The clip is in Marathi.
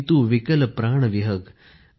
किंतु विकल प्राण विहग